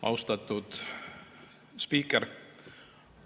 Austatud spiiker!